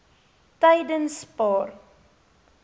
tydenspaar